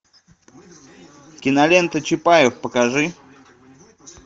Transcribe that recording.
кинолента чапаев покажи